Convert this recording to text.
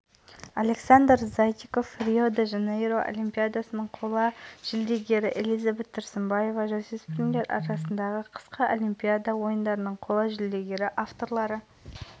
орталық алаңда қорытындыланған эстафетаның кезеңін мәнерлеп сырғанаушы элизабет тұрсынбаева аяқтады жасөспірімдер арасындағы қысқы олимпиада ойындарының қола